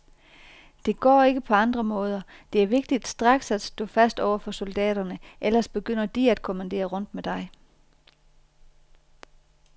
Det går ikke på andre måder, det er vigtigt straks at stå fast over for soldaterne, ellers begynder de at kommandere rundt med dig.